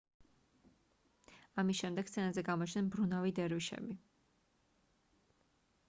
ამის შემდეგ სცენაზე გამოჩნდნენ მბრუნავი დერვიშები